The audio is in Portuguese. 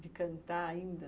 De cantar ainda?